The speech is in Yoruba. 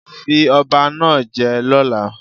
Fi ọba náà je lọ́la